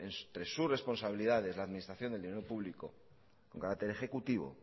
entre sus responsabilidad la administración del dinero público con carácter ejecutivo